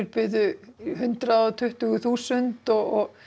buðu hundrað og tuttugu þúsund og